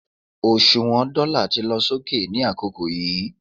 òṣùwàn dóla ti lọ sókè ni àkókò yíì